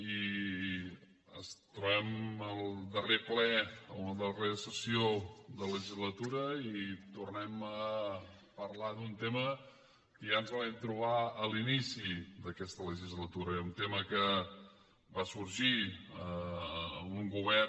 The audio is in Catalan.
i ens trobem al darrer ple la darrera sessió de la legislatura i tornem a parlar d’un tema que ja ens el vam trobar a l’inici d’aquesta legislatura un tema que va sorgir en un govern